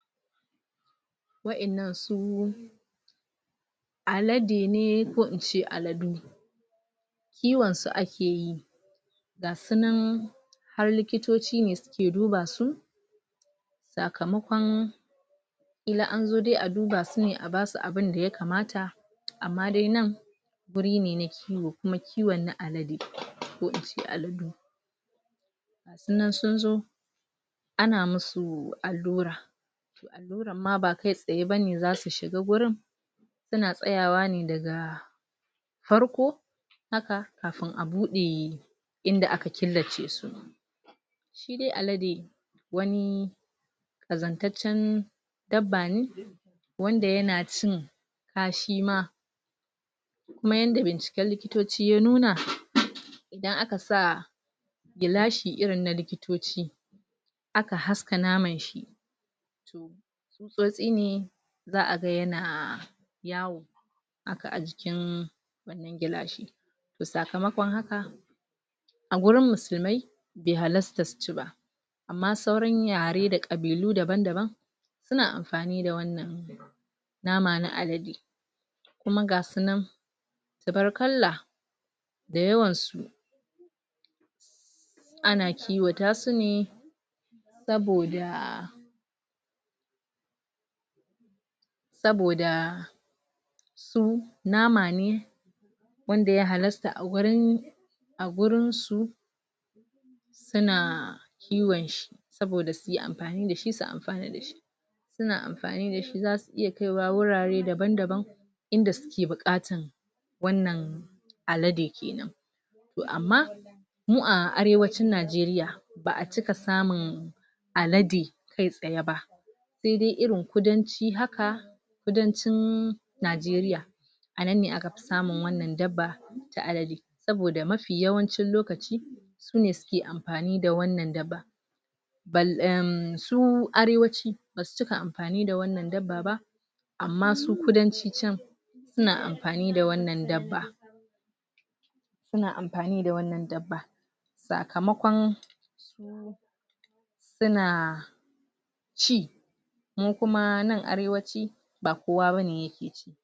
Waƴan nan su alade ne ko ince aladu kiyon su akeyi ga sunan har likitoci ne suke duba su sakamakon kila anzo dai aduba sune abasu abun daya kamata amma dai nan guri ne na kiyo kuma kiwon na alade ko ince aladu idan sunzo ana masu allura amma ba kaitsaye bane zasu shiga gurin suna tsayawa ne daga farko haka kafin abuɗe inda aka killace su shidai alade wani ƙazantaccen dabbane wanda yana cin kashi ma kuma yadda binciken likitoci ya nuna idan akasa gilashi irin na likitoci aka haska naman shi tsutsotsi ne za'a ga yana yawo haka ajikin gilashi sakamakon haka a wurin musulmai be hallasta suci ba amma sauran yare da ƙabilu daban-daban suna amfani da wannan nama na alade kuma gasu nan tubarkalla da yawan su ana kiwatasune saboda saboda su nama ne wanda ya halasta a wurin a wurin su suna kiwon shi saboda suyi amfani dashi su amfana dashi suna amfani dashi zasu iya kaiwa wurare daban-daban inda suke buƙata wannan alade kenan to amma mu a arewacin nigeria ba'acika samun alade kaitsaye ba sai dai irin kudanci haka kudancin nigeria anan aka fi samun wannan dabba ta alade saboda mafi yawancin lokaci sune suke amfani da wannan dabba su arewaci basu cika amfani da wannan dabba amma su kudanci can suna amfani da wannan dabba suna amfani da wannan dabba sakamakon suna ci mu kuma nan arewaci ba kowa bane yake ci